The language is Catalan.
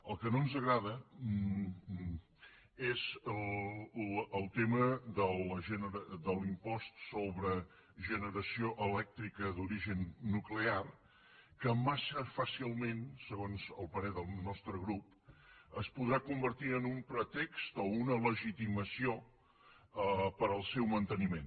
el que no ens agrada és el tema de l’impost sobre generació elèctrica d’origen nuclear que massa fàcilment segons el parer del nostre grup es podrà convertir en un pretext o una legitimació per al seu manteniment